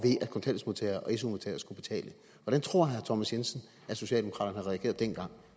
su modtagere skulle betale hvordan tror herre thomas jensen at socialdemokraterne havde regeret dengang